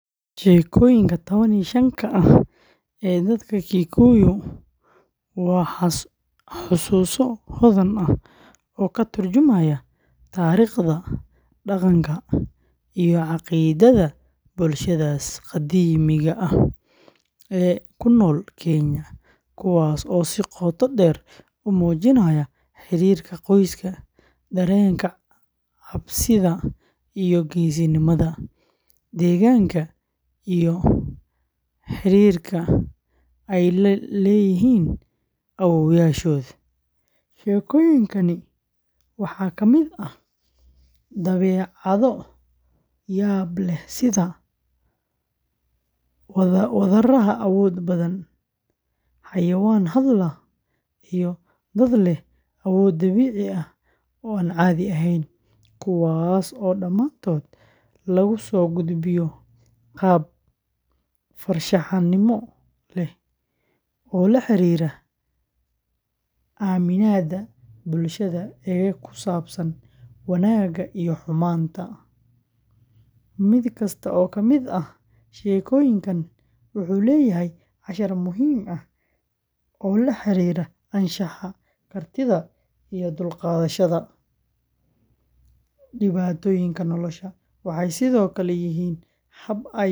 Sheekooyinka tawan iyo shannka ah ee dadka Gikuyu waa xusuuso hodan ah oo ka turjumaya taariikhda, dhaqanka, iyo caqiidada bulshadaas qadiimiga ah ee ku nool Kenya, kuwaas oo si qoto dheer u muujinaya xiriirka qoyska, dareenka cabsida iyo geesinimada, deegaanka, iyo xidhiidhka ay la leeyihiin awoowayaashood. Sheekooyinkani waxaa ka mid ah dabeecado yaab leh sida wadaraha awooda badan, xayawaan hadla, iyo dad leh awood dabiici ah oo aan caadi ahayn, kuwaas oo dhammaantood lagu soo gudbiyo qaab farshaxanimo leh oo la xiriira aaminaadda bulshada ee ku saabsan wanaagga iyo xumaanta. Mid kasta oo ka mid ah sheekooyinkan wuxuu leeyahay cashar muhiim ah oo la xiriira anshaxa, kartida, iyo u dulqaadashada dhibaatooyinka nolosha. Waxay sidoo kale yihiin hab ay waayeelku.